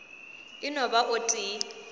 e no ba o tee